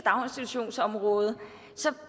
daginstitutionsområdet